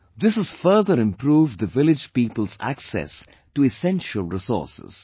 This has further improved the village people's access to essential resources